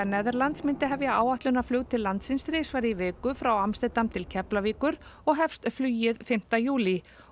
Netherlands myndi hefja áætlunarflug til landsins þrisvar í viku frá Amsterdam til Keflavíkur og hefst flugið fimmti júlí